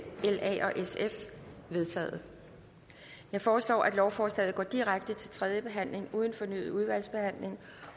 vedtaget jeg foreslår at lovforslaget går direkte til tredje behandling uden fornyet udvalgsbehandling